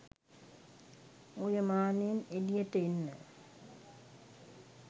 ඔය මානයෙන් එළියට එන්න.